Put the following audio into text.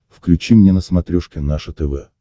включи мне на смотрешке наше тв